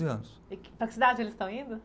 Anos. E que, para que cidade eles estão indo?